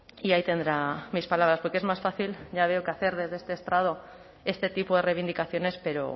y ahí tendrá mis palabras porque es más fácil ya veo que hacer desde este estrado este tipo de reivindicaciones pero